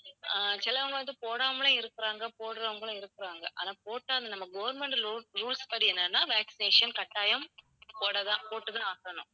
அஹ் சிலவங்க வந்து போடாமலும் இருக்குறாங்க, போடுறவங்களும் இருக்குறாங்க. ஆனா போட்டா அது நம்ம government rul~ rules படி என்னன்னா vaccination கட்டாயம் போடத் தான் போட்டுத் தான் ஆகணும்